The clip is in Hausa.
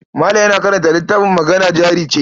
Malam yana karanta littafin Magana Jari Ce.